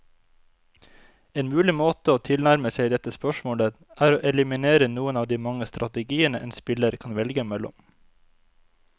En mulig måte å tilnærme seg dette spørsmålet, er å eliminere noen av de mange strategiene en spiller kan velge mellom.